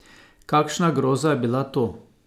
Kakšna groza je bila to!